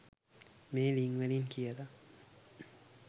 මේ ළිං වලින් කියලා